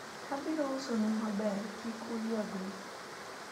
abiro uso nu maber, kik uyuagre